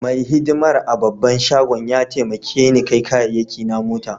Mai hidimar a'babban shagon ya taimake ni kai kayaki na mota.